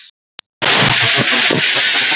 Þín, Unnur.